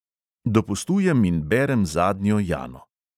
Dopustujem in berem zadnjo jano.